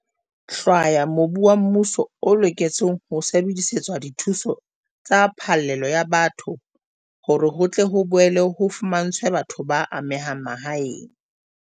hlwaya mobu wa mmuso o loketseng ho sebedisetswa dithuso tsa phallelo ya batho hore ho tle ho boele ho fumantshwe batho ba amehang mahae.